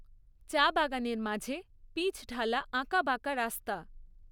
চা বাগানের মাঝে পিচঢালা আঁকাবাঁকা রাস্তা।